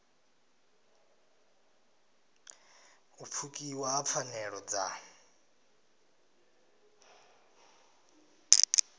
u pfukiwa ha pfanelo dza